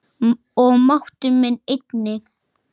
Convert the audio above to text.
Og máttur minn einnig.